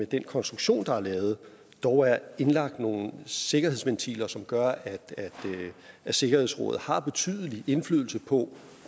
den konstruktion der er lavet dog er indlagt nogle sikkerhedsventiler som gør at sikkerhedsrådet har betydelig indflydelse på